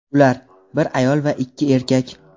Ular – bir ayol va ikki erkak.